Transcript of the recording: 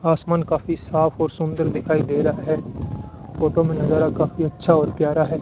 आसमान काफी साफ और सुंदर दिखाई दे रहा है फोटो में नजारा काफी अच्छा और प्यार है।